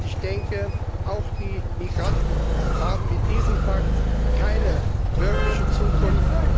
Ich denke, auch die Migranten haben mit diesem Pakt keine wirkliche Zukunft.